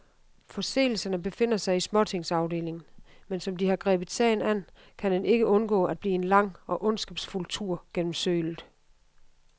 Forseelserne befinder sig i småtingsafdelingen, men som de har grebet sagen an, kan den ikke undgå at blive en lang og ondskabsfuld tur gennem sølet.